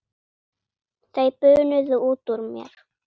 Þau bunuðu út úr mér.